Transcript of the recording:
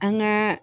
An gaa